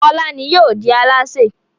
Fọlá ni yóò di alásè.